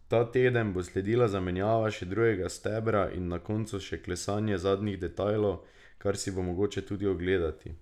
Ta teden bo sledila zamenjava še drugega stebra in na koncu še klesanje zadnjih detajlov, kar si bo mogoče tudi ogledati.